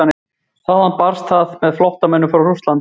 Þaðan barst það með flóttamönnum frá Rússlandi.